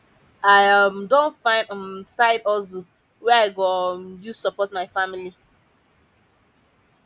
i um don find um side hustle wey i go um use support my family